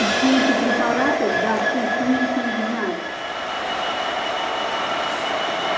и все эти препараты да ты конечно их знаешь